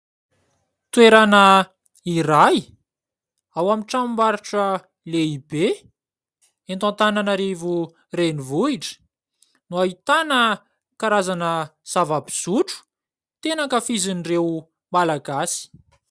Toerana iray, ao amin'ny tranom-barotra lehibe eto Antanainarivo renivohitra no ahitana karazana zava-pisotro tena ankafizin'ireo Malagasy.